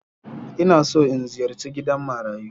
Ina so in ziyarci gidan marayu